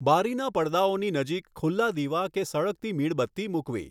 બારીના પડદાઓની નજીક ખુલ્લા દીવા કે સળગતી મીણબત્તી મૂકવી.